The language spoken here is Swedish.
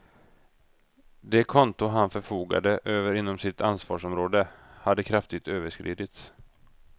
Det konto han förfogade över inom sitt ansvarsområde hade kraftigt överskridits.